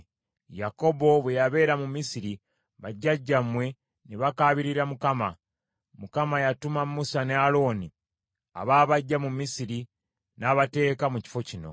“Yakobo bwe yabeera mu Misiri, bajjajjammwe ne bakaabirira Mukama ; Mukama yatuma Musa ne Alooni, abaabaggya mu Misiri, n’abateeka mu kifo kino.